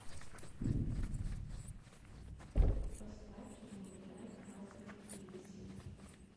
поставь не улетай красная плесень